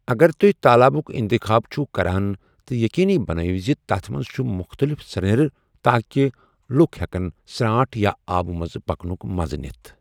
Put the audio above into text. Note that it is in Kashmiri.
اگر تُہۍ تالابُک انتخاب چھِو کران تہٕ یقینی بنٲیِو زِ تتھ منٛز چھُ مختلف سرٛنٮ۪ر تاکہ لوک ہیٚکَن سرٛانٛٹھ یا آبہٕ منز پکنُک مَزٕ نِتھ۔